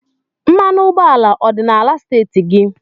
Mmanụ ụgbọala ọ dị n'ala steeti gị?